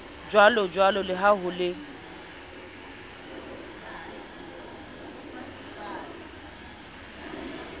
jwalojwalo le ha ho le